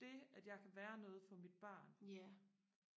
det at jeg kan være noget for mit barn